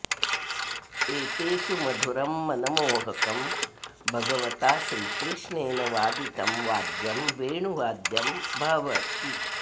एतेषु मधुरं मनमोहकं भगवता श्रीकृष्णेन वादितं वाद्यं वेणुवाद्यं भवति